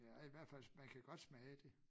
Ja i hvert fald man kan godt smage det